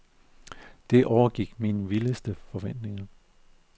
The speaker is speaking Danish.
Det overgik mine vildeste forventninger.